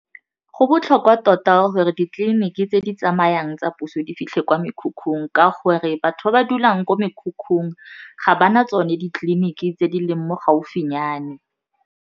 Go botlhokwa tota gore ditleliniki tse di tsamayang tsa puso di fitlhe kwa mekhukhung ka gore batho ba ba dulang ko mekhukhung ga ba na tsone ditleliniki tse di leng mo gaufinyane.